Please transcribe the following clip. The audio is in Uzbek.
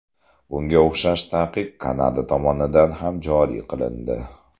Bunga o‘xshash taqiq Kanada tomonidan ham joriy qilindi.